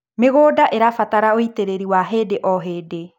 mĩgũnda irabatara ũitiriri wa hĩndĩ o hĩndĩ